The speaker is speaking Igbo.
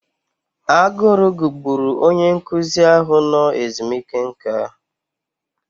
Agụrụ gugburu onye nkụzi ahụ nọ ezumike nká.